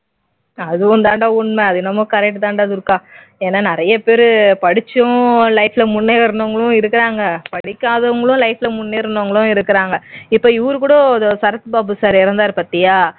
அதுவும் தாண்டா உண்மை அதுவும் என்னவோ correct தான்டா துர்கா ஏன்னா நிறைய பேர் படிச்சோம் life ல முன்னேறினவங்களும் இருக்காங்க படிக்காதவங்களும் life ல முன்னேறினவங்களும் இருக்காங்க இப்போ இவர்கூட சரத் பாபு சார் இறந்தார் பாத்தியா